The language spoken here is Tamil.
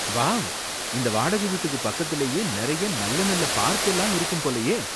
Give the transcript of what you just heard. வாவ்! இந்த வாடகை வீட்டுக்கு பக்கத்துலயே நறைய நல்ல நல்ல பார்க் எல்லாம் இருக்கும் போலயே!